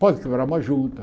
Pode quebrar uma junta.